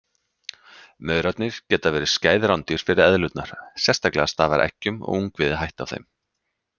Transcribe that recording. Maurarnir geta verið skæð rándýr fyrir eðlurnar, sérstaklega stafar eggjum og ungviði hætta af þeim.